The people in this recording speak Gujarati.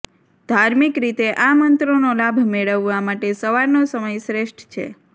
ધાર્મિક રીતે આ મંત્રનો લાભ મેળવવા માટે સવારનો સમય શ્રેષ્ઠ છે